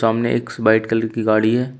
सामने X white colour की गाड़ी है।